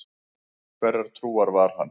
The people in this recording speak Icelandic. Hverrar trúar var hann?